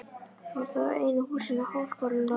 Þetta voru þá einu húsin á háskólalóðinni.